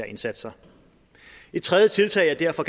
indsatser et tredje tiltag jeg derfor